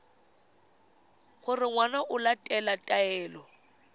gore ngwana o latela taelo